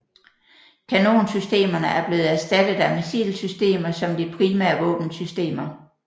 Kanonsystemerne er blevet erstattet af missilsystemer som de primære våbensystemer